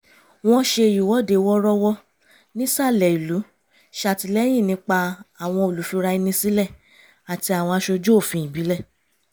wọ́n ṣe ìwọ́dé wọ́rọ́wọ́ nìsalẹ̀ ìlú ṣàtìlẹ́yìn nípa àwọn olùfira ẹni sílẹ̀ àti àwọn aṣojú òfin ìbílẹ̀